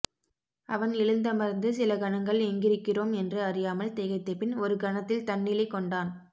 அவன் எழுந்தமர்ந்து சில கணங்கள் எங்கிருக்கிறோம் என்று அறியாமல் திகைத்தபின் ஒருகணத்தில் தன்நிலை கொண்டான்